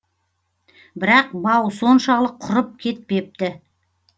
бірақ бау соншалық құрып кетпепті